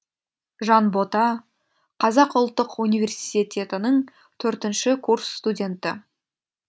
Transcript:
жанбота қазақ ұлттық университетінің төртінші курс студенті